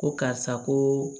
Ko karisa ko